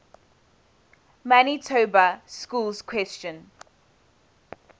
manitoba schools question